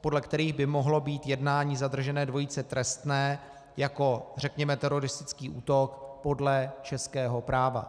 podle kterých by mohlo být jednání zadržené dvojice trestné jako řekněme teroristický útok podle českého práva.